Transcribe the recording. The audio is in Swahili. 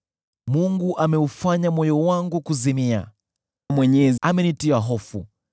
Mungu ameufanya moyo wangu kuzimia; yeye Mwenyezi amenitia hofu.